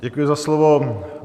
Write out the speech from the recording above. Děkuji za slovo.